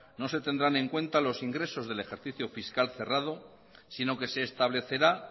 no se tendrán en cuenta los ingresos del ejercicio fiscal cerrado sino que se establecerá